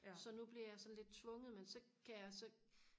så nu bliver jeg sådan lidt tvunget men så kan jeg så